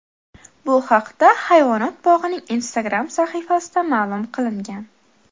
Bu haqda hayvonot bog‘ining Instagram sahifasida ma’lum qilingan .